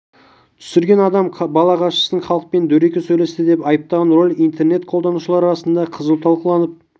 түсірген адам қала басшысын халықпен дөрекі сөйлесті деп айыптаған ролик интернет қолданушылар арасында қызу талқыланып